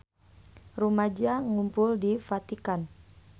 Rumaja ngarumpul di Vatikan